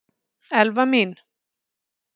Elfa mín!